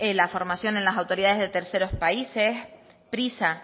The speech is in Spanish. la formación en las autoridades de terceros países prisa